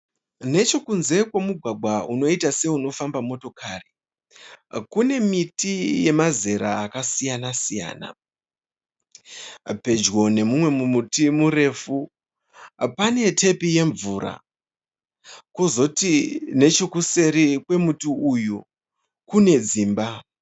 Nechekunze kwemugwagwa unoita seunofamba motikari kune miti yemazera akasiyana-siyana. Pedyo neumwe muti murefu pane tepi yemvura. Kozoti nechekuseri kwemuti uyu kune dzimba.